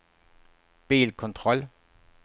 bilkontroll